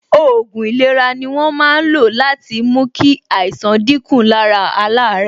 Òògùn ìlera ni wọ́n máa ń lo láti fi mú kí àìsàn dín kù lára àwọn alaare